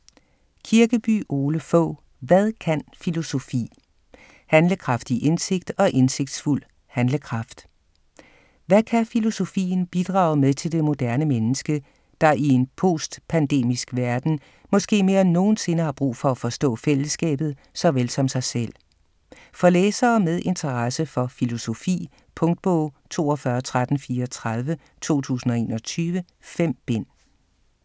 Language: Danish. Kirkeby, Ole Fogh: Hvad kan filosofi?: handlekraftig indsigt og indsigtsfuld handlekraft Hvad kan filosofien bidrage med til det moderne menneske, der i en postpandemisk verden måske mere end nogensinde har brug for at forstå fællesskabet såvel som sig selv? For læsere med interesse for filosofi. Punktbog 421334 2021. 5 bind.